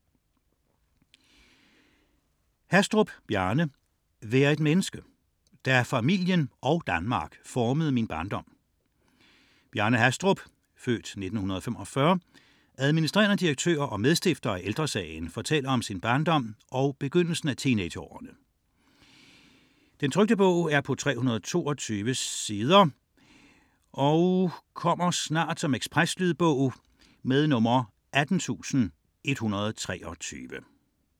99.4 Hastrup, Bjarne Hastrup, Bjarne: Vær et menneske : da familien og Danmark formede min barndom Bjarne Hastrup (f. 1945), adm. direktør og medstifter af Ældre Sagen, fortæller om sin barndom og begyndelsen af teenageårene. 2008, 322 sider. Lydbog 18123 Ekspresbog - kommer snart